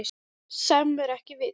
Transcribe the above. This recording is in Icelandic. Sem er ekkert vit.